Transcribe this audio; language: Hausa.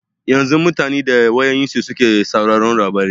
Yanzu mutane da wayoyinsu suke sauraron labarai.